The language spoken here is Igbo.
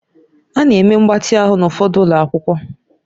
A na-eme mgbatị ahụ n'ụfọdụ ụlọ akwụkwọ